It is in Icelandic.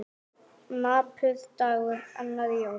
Napur dagur, annar í jólum.